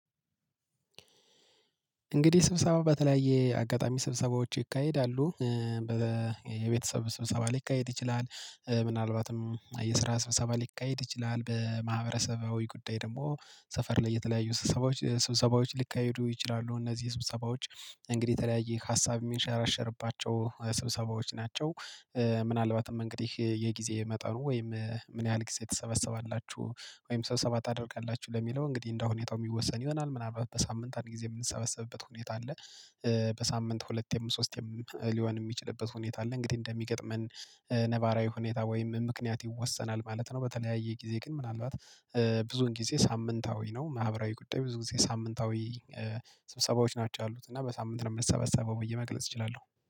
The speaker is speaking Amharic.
እንግዲህ ስብሰባ በተለያየ አጋጣሚ ስብሰባዎች ይካሄዳሉ። የቤተሰብ ስብሰባ ሊካሄድ ይችላል ምናልባትም የስራ ሀሳባ ሊካሄድ ይችላል በማህበረሰባዊ ጉዳይ ደግሞ ሰፈር ላይ የተለያዩ ስብሰባዎች ስብሰባዎች ሊካሄዱ ይችላሉ። እነዚህ ስብሰባዎች እንግዲህ የተለያየ ሀሳብ የሚንሸራሸርባቸው ስብሰባዎች ናቸው። ምናልባትም እንግዲህ የጊዜ መጠኑ ወይም ምን ያህል ጊዜ ትሰበሰባላችሁ? ወይም ስብሰብባ ታደርጋላችሁ ለሚለው እንግዲህ እንደው ሁኔታው የሚወሰን ይሆናል ምናልባት በሳምንት አንድ ጊዜ የምንሰበሰብበት ሁኔታ አለ። በሳምንት ሁለቴም ሶስቴም ሊሆን የሚችልበት ሁኔታ አለ። እንግዲህ እንደሚገጥመን ነባራዊ ሁኔታ ወይም ምክንያት ይወሰናል ማለት ነው። በተለያየ ጊዜ ግን ምናልባት ብዙውን ጊዜ ሳምንታዊ ነው። ማህበራዊ ጉዳይ ብዙ ጊዜ ሳምንታዊ ስብሰባዎች ናቸው ያሉት እና በሳምንት ነው የምሰበሰበው ብዬ መግለጽ እችላለሁ።